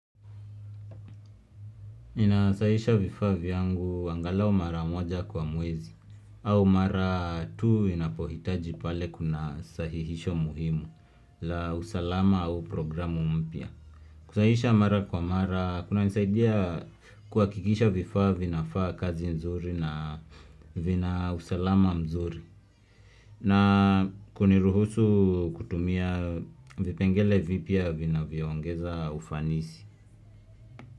Ninasahihisha vifaa vyangu angalau mara moja kwa mwezi au mara tu inapohitaji pale kuna sahihisho muhimu la usalama au programu mpya. Kusahihisha mara kwa mara kuna nisaidia kuhakikisha vifaa vinafaa kazi nzuri na vina usalama mzuri na kuniruhusu kutumia vipengele vipya vinavyo ongeza ufanisi.